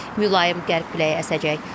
Mülayim qərb küləyi əsəcək.